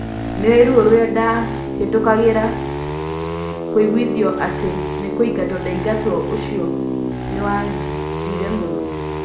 Nĩoĩ ruo rũrĩa ndahĩtũkagĩra, kũiguithio atĩ nĩkũingatwo ndaingatagwo ũcio nĩwandire mũno